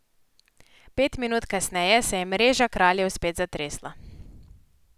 Pet minut kasneje se je mreža Kraljev spet zatresla.